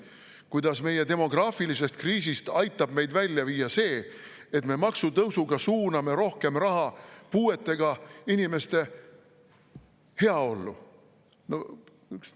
–, kuidas meie demograafilisest kriisist aitab meid välja viia see, et me maksutõusuga suuname rohkem raha puuetega inimeste heaollu.